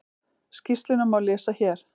Skýrsluna má lesa hér